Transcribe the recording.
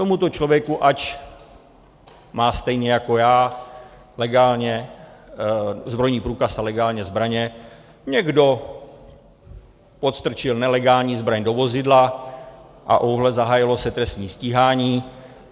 Tomuto člověku, ač má stejně jako já legálně zbrojní průkaz a legálně zbraně, někdo podstrčil nelegální zbraň do vozidla, a ejhle, zahájilo se trestní stíhání.